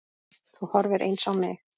Þú horfir eins á mig.